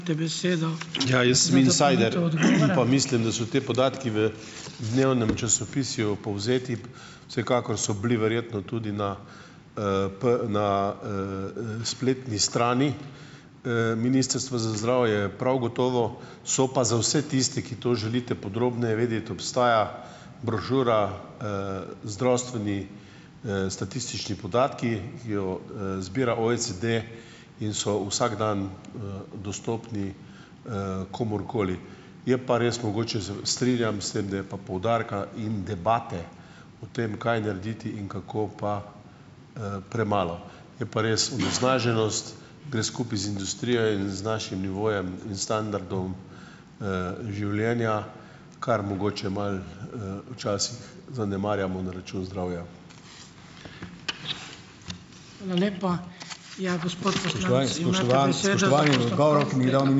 Ja, jim sem insider pa mislim, da so ti podatki v dnevnem časopisju povzeti. Vsekakor so bili verjetno tudi na, na, spletni strani, ministrstva za zdravje. Prav gotovo so pa za vse tiste, ki to želite podrobneje vedeti, obstaja brošura, zdravstveni, statistični podatki, ki jo, zbira OECD, in so vsak dan, dostopni, komurkoli. Je pa res mogoče strinjam se, da je pa poudarka in debate o tem, kaj narediti in kako, pa, premalo. Je pa res, onesnaženost gre skupaj z industrijo in z našim nivojem in standardom, življenja, kar mogoče malo, včasih zanemarjamo na račun zdravja.